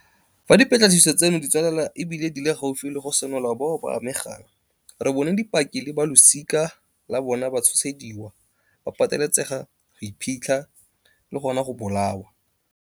Fa dipatlisiso tseno di tswelela e bile di le gaufi le go senola bao ba amegang, re bone dipaki le balosika la bona ba tshosediwa, ba pateletsega go iphitlha, le gona go bolawa.